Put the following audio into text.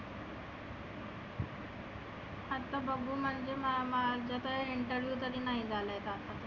आता बघु म माझं तर interview नाही झालाय आता.